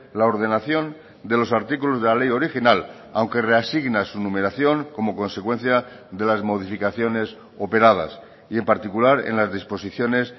la ordenación de los artículos de la ley original aunque reasigna su numeración como consecuencia de las modificaciones operadas y en particular en las disposiciones